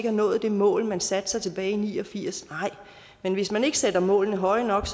har nået det mål man satte sig tilbage i nitten ni og firs nej men hvis man ikke sætter målene højt nok